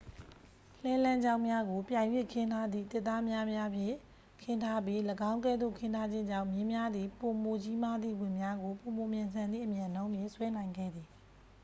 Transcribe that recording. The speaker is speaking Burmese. လှည်းလမ်းကြောင်းများကို ပြိုင်၍ခင်းထားသည့် သစ်သားပြားများဖြင့် ခင်းထားပြီး ၎င်းကဲ့သို့ခင်းထားခြင်းကြောင့် မြင်းများသည် ပိုမိုကြီးမားသည့် ဝန်များကို ပိုမိုမြန်ဆန်သည့် အမြန်နှုန်းဖြင့် ဆွဲနိုင်ခဲ့သည်